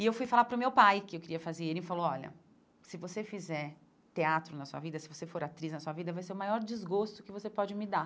E eu fui falar para o meu pai que eu queria fazer e ele falou, olha, se você fizer teatro na sua vida, se você for atriz na sua vida, vai ser o maior desgosto que você pode me dar.